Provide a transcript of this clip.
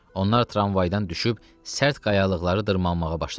Onlar tramvaydan düşüb sərt qayalıqları dırmaşmağa başladılar.